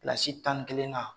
Kilasi tannikelennan